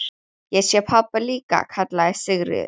Ég sé pabba líka, kallaði Sigríður.